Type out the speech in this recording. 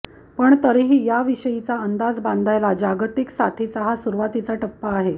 पण तरीही याविषयीचा अंदाज बांधायला जागतिक साथीचा हा सुरुवातीचा टप्पा आहे